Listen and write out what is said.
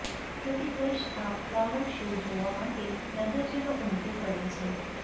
પ્રતિ વર્ષ આ ફ્લાવર શો જોવા માટે નગરજનો ઉમટી પડે છે